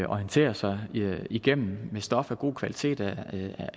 orienterer sig i gennem nyhedsstof af god kvalitet er